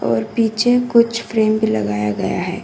और पीछे कुछ फ्रेम भी लगाया गया है।